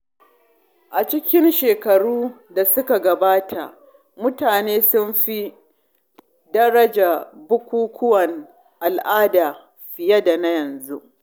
A cikin shekaru da suka gabata, mutane sun fi daraja bukukkuwan al’ada fiye da yanzu.